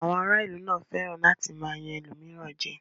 Àwọn ará ìlú náà fẹ́ràn láti máa yan ẹlòmíràn jẹ.